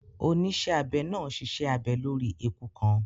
Onísẹ́abẹ náà ṣiṣẹ́ abẹ lórí eku kan